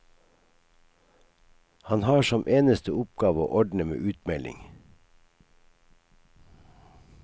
Han har som eneste oppgave å ordne med utmelding.